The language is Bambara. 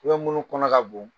munnu kɔnɔ ka bon